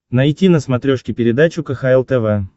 найти на смотрешке передачу кхл тв